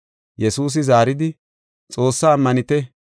Yesuusi zaaridi, “Xoossaa ammanite.